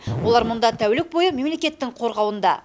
олар мұнда тәулік бойы мемлекеттің қорғауында